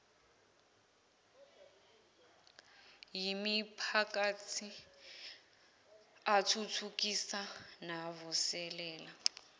yimiphakathi athuthukisa navuselela